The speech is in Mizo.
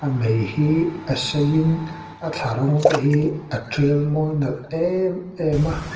mei hi a seiin a thlarawng tehi a tial mawi nalh emem a.